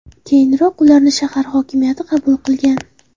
Keyinroq ularni shahar hokimiyati qabul qilgan.